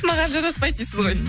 маған жараспайды дейсіз ғой